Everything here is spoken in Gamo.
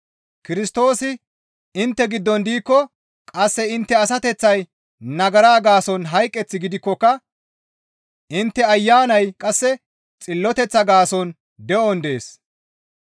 Kirstoosi intte giddon diikko qasse intte asateththay nagara gaason hayqeth gidikkoka intte Ayanay qasse xilloteththa gaason de7on dees.